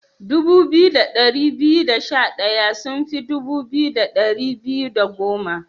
Dubu biyu da dari biyu da sha daya sun fi dubu biyu da dari biyu da goma.